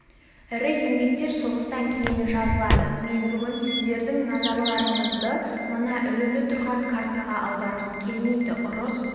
ірі еңбектер соғыстан кейін жазылады мен бүгін сіздердің назарларыңызды мына ілулі тұрған картаға аударғым келмейді ұрыс